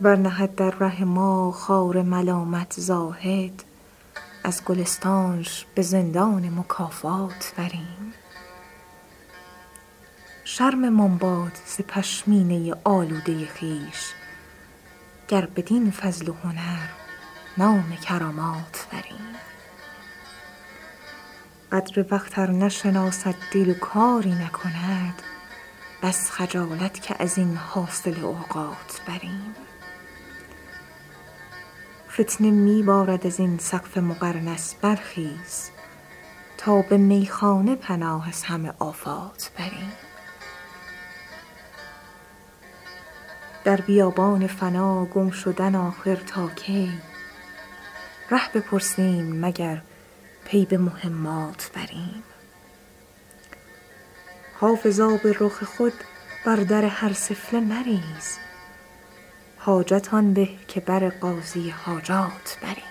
ور نهد در ره ما خار ملامت زاهد از گلستانش به زندان مکافات بریم شرممان باد ز پشمینه آلوده خویش گر بدین فضل و هنر نام کرامات بریم قدر وقت ار نشناسد دل و کاری نکند بس خجالت که از این حاصل اوقات بریم فتنه می بارد از این سقف مقرنس برخیز تا به میخانه پناه از همه آفات بریم در بیابان فنا گم شدن آخر تا کی ره بپرسیم مگر پی به مهمات بریم حافظ آب رخ خود بر در هر سفله مریز حاجت آن به که بر قاضی حاجات بریم